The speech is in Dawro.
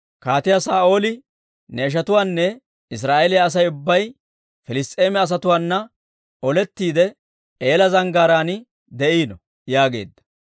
Kaatiyaa Saa'ooli, ne ishatuwaanne Israa'eeliyaa Asay ubbay, Piliss's'eema asatuwaana olettiide, Eela Zanggaaraan de'iino» yaageedda.